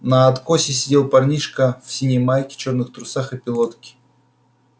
на откосе сидел парнишка в синей майке черных трусах и пилотке